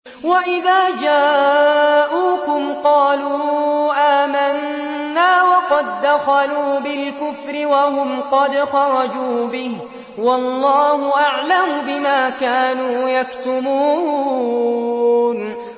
وَإِذَا جَاءُوكُمْ قَالُوا آمَنَّا وَقَد دَّخَلُوا بِالْكُفْرِ وَهُمْ قَدْ خَرَجُوا بِهِ ۚ وَاللَّهُ أَعْلَمُ بِمَا كَانُوا يَكْتُمُونَ